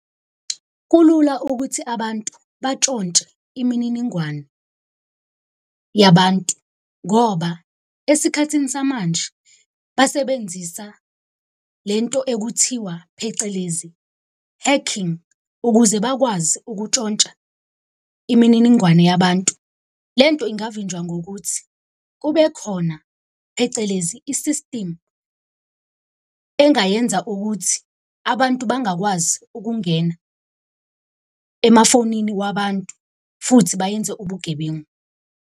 Kulula ukuthi abantu batshontshe imininingwane yabantu ngoba esikhathini samanje basebenzisa le nto ekuthiwa phecelezi, hacking ukuze bakwazi ukutshontsha imininingwane yabantu. Le nto ingavinjwa ngokuthi kube khona phecelezi, i-system engayenza ukuthi abantu bangakwazi ukungena emafonini wabantu, futhi bayenze ubugebengu.